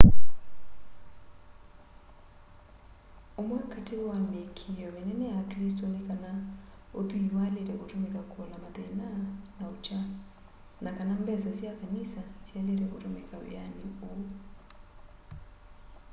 ũmwe katĩ wa mĩĩkĩo mĩnene ya aklĩsto nĩ kana ũthwĩĩ waĩlĩte kũtũmĩka kũola mathĩna na ũkya na kana mbesa sya kanĩsa syaĩlĩte kũtũmĩka wĩanĩ ũũ